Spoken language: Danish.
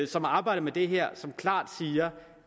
som har arbejdet med det her klart siger